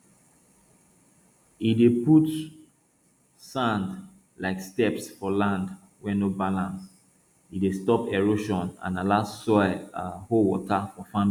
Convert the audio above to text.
e dey put sand like steps for lands wey no balance e dey stop erosion and allow soil um hold water for farming